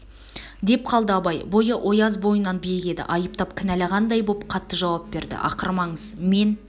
деп қалды абай бойы ояз бойынан биік еді айыптап кінәлағандай боп қатты жауап берді ақырмаңыз мен